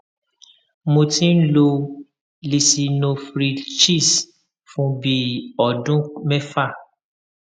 mo ti ń lo lisinoprilhctz fún bí i ọdún mẹfà